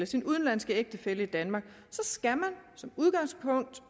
sin udenlandske ægtefælle i danmark som udgangspunkt